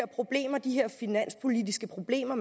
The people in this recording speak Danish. problemer de finanspolitiske problemer